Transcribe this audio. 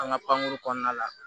An ka pankuru kɔnɔna la